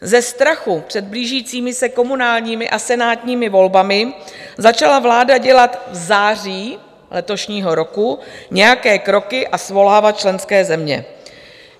Ze strachu před blížícími se komunálními a senátními volbami začala vláda dělat v září letošního roku nějaké kroky a svolávat členské země.